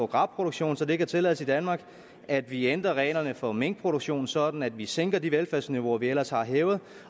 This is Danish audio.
gras produktion så det kan tillades i danmark at vi ændrer reglerne for minkproduktion sådan at vi sænker de velfærdsniveauer vi ellers har hævet